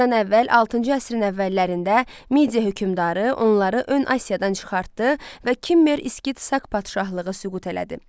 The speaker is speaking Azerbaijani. Əramızdan əvvəl altıncı əsrin əvvəllərində Media hökmdarı onları ön Asiyadan çıxartdı və Kimmer, Skit, Sak padşahlığı süqut elədi.